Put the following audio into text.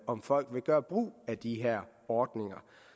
om folk vil gøre brug af de her ordninger